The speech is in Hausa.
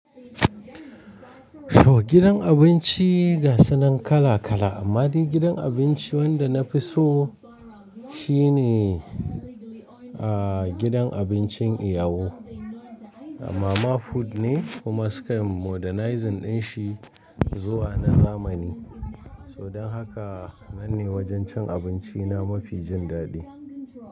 So gidan abinci gasu nan kala kala, amma dai gidan abinci wanda na fi so shine, ah, gidan abincin iyawo. Mama food ne kuma suka yi modernizing din shi zuwa na zamani. So don haka nan ne wajen cin abinci na mafi jin daɗi.